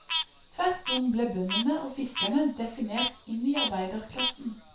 Tvert om ble bøndene og fiskerne definert inn i arbeiderklassen.